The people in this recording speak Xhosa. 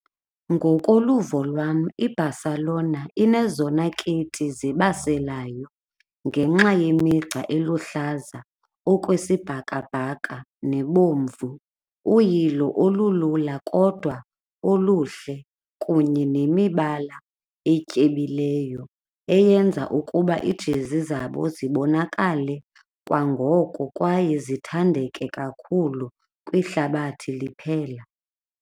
Ngokoluvo lwam iBarcelona inezona kiti zibaselayo ngenxa yemigca eluhlaza okwesibhakabhaka nebomvu, uyilo olulula kodwa oluhle kunye nemibala etyebileyo eyenza ukuba iijezi zabo zibonakale kwangoko kwaye zithandeke kakhulu kwihlabathi liphela.